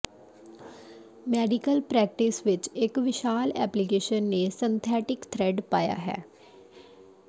medical practice ਵਿਚ ਇਕ ਵਿਸ਼ਾਲ ਐਪਲੀਕੇਸ਼ਨ ਨੇ ਸਿੰਥੈਟਿਕ ਥ੍ਰੈਡ ਪਾਇਆ ਹੈ